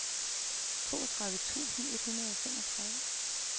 toogtredive tusind et hundrede og femogtredive